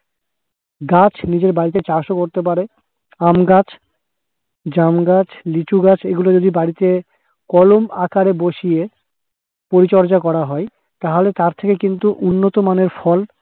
গাছ নিজের বাড়িতে চাষ ও করতে পারে। আমগাছ, জামগাছ, লিচুগাছ এগুলো যদি বাড়িতে কলম আকারে বসিয়ে পরিচর্যা করা হয়, তাহলে তার থেকে কিন্তু উন্নতমানের ফল